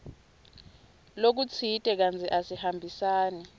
lokutsite kantsi asihambisani